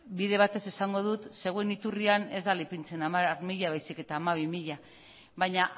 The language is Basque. bide batez esango dut zeuen iturrian ez dela ipintzen hamar mila baizik eta hamabi mila baina